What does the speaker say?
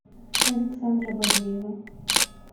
александра бадеева